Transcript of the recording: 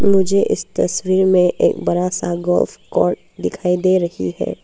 मुझे इस तस्वीर में एक बड़ा सा गोल्फ कोर्ट दिखाई दे रही है।